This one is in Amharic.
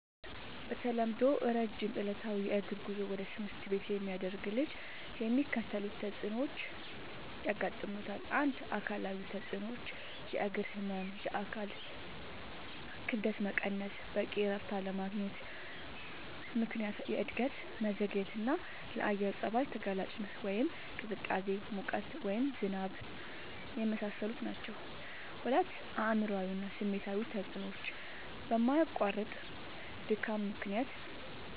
በተለምዶ ረጅም ዕለታዊ የእግር ጉዞ ወደ ትምህርት ቤት የሚያደርግ ልጅ የሚከተሉት ተጽዕኖዎች ያጋጥሙታል። ፩. አካላዊ ተጽዕኖዎች፦ · የእግር ህመም፣ የአካል ክብደት መቀነስ፣ በቂ እረፍት ባለማግኘት ምክንያት የእድገት መዘግየትና፣ ለአየር ጸባይ ተጋላጭነት (ቅዝቃዜ፣ ሙቀት፣ ዝናብ) የመሳሰሉት ናቸዉ። ፪. አእምሯዊ እና ስሜታዊ ተጽዕኖዎች፦ በማያቋርጥ ድካም ምክንያት